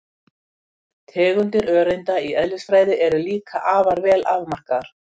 Tegundir öreinda í eðlisfræði eru líka afar vel afmarkaðar.